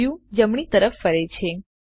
view જમણી તરફ ફરે છે